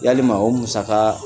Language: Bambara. Yalima o musaka